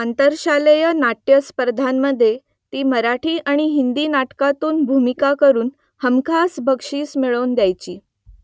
आंतरशालेय नाट्य स्पर्धांमधे ती मराठी आणि हिंदी नाटकांतून भूमिका करून हमखास बक्षिसं मिळवून द्यायची